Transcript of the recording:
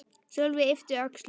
Sölvi yppti öxlum.